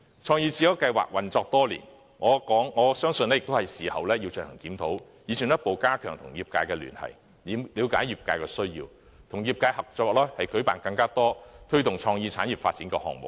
"創意智優計劃"運作多年，我相信也是時候進行檢討，以進一步加強與業界的聯繫，了解業界需要，與業界合作舉辦更多推動創意產業發展的項目。